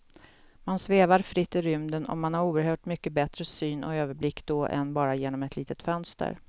Man svävar fritt i rymden och man har oerhört mycket bättre syn och överblick då än bara genom ett litet fönster.